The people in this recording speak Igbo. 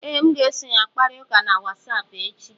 Ee, m ga-eso ya kparịta ụka na Wasapụ echi